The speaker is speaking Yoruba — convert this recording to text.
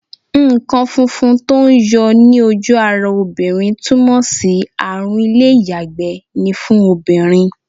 Nǹkan funfun tó ń yọ ní ojú ara obìnrin túmọ̀ sí àrùn ilé-iyagbe ni fún obìnrin.